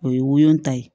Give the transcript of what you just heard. O ye woyota ye